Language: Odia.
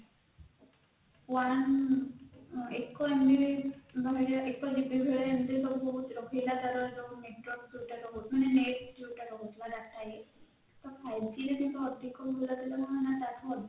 one ଏକ MB ଭଳିଆ ଏକ GB ଭଳିଆ ଏମିତି ବହୁତ ସବୁ ରହିଲା ତାର network ଯୋଉଟା ମନ net ଯୋଉଟା ରହୁଥିଲା data ଇଏ ତ five g ଅଧିକ କଣ ହେଲା ନ ତାଠୁ ଅଧିକ